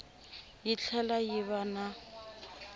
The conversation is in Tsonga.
yi tlhela yi va na